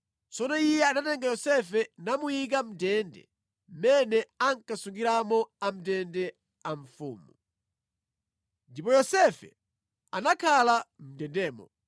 Tsono iye anatenga Yosefe namuyika mʼndende mmene ankasungiramo amʼndende a mfumu. Ndipo Yosefe anakhala mʼndendemo